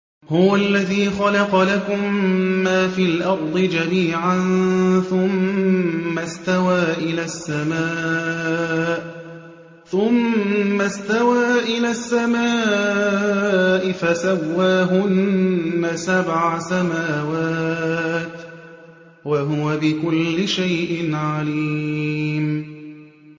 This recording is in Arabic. هُوَ الَّذِي خَلَقَ لَكُم مَّا فِي الْأَرْضِ جَمِيعًا ثُمَّ اسْتَوَىٰ إِلَى السَّمَاءِ فَسَوَّاهُنَّ سَبْعَ سَمَاوَاتٍ ۚ وَهُوَ بِكُلِّ شَيْءٍ عَلِيمٌ